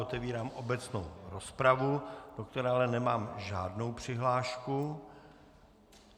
Otevírám obecnou rozpravu, do které ale nemám žádnou přihlášku.